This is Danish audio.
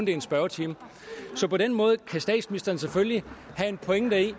er en spørgetime så på den måde kan statsministeren selvfølgelig have en pointe i